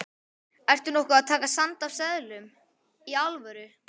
Ertu nokkuð með sand af seðlum. í alvöru?